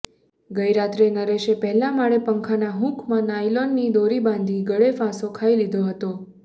ગઇ રાત્રે નરેશે પહેલા માળે પંખાના હૂકમાં નાયલોનની દોરી બાંધી ગળે ફાંસો ખાઇ લીધો હતો